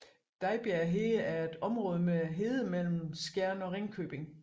Dejbjerg Hede er et område med hede mellem Skjern og Ringkøbing